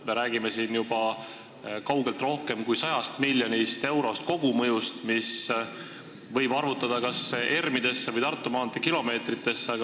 Me räägime juba kaugelt rohkem kui 100 miljoni euro suurusest kogumõjust, mille võib ümber arvutada kas ERM-idesse või Tartu maantee kilomeetritesse.